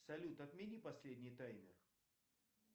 салют отмени последний таймер